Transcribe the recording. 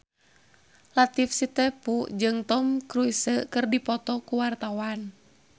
Latief Sitepu jeung Tom Cruise keur dipoto ku wartawan